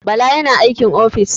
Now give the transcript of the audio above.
Bala yana aikin ofis.